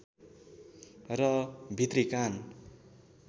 र भित्री कान